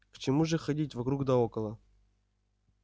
к чему же ходить вокруг да около